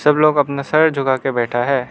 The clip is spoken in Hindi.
कुछ लोग अपना सर झुका के बैठा है।